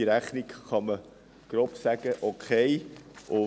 Zur laufenden Rechnung kann man, grob gesagt, «okay» sagen.